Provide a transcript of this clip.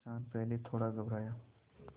किसान पहले थोड़ा घबराया